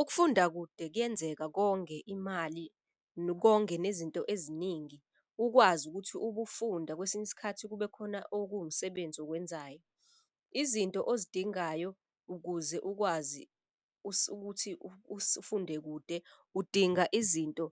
Ukufunda kude kuyenzeka konge imali, konge nezinto eziningi ukwazi ukuthi ubufunda kwesinye isikhathi kube khona okuwumsebenzi okwenzayo. Izinto ozidingayo ukuze ukwazi ukuthi ufunde kude udinga izinto